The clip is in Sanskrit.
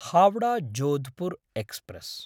हावडा–जोधपुर् एक्स्प्रेस्